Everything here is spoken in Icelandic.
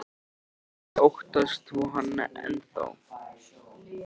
Bryndís: Óttast þú hann enn þá?